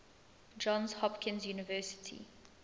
johns hopkins university